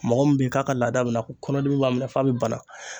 Mɔgɔ min bɛ yen k'a ka laada bɛna kɔnɔdimi b'a minɛ f'a bi bana.